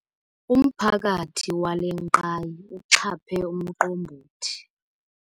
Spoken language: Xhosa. Umphakathi wale ngqayi uxhaphe umqombothi.